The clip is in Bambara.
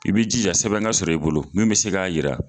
I b'i jija sɛbɛn ka sɔrɔ i bolo min be se k'a yira